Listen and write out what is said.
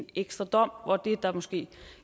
ekstra dom hvor det der måske